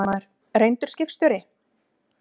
Fréttamaður: Reyndur skipstjóri?